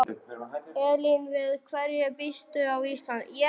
Elín: Við hverju býstu á Íslandi?